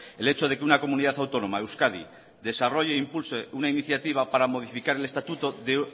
el hecho de que una comunidad autónoma euskadi desarrolle e impulse una iniciativa para modificar el estatuto de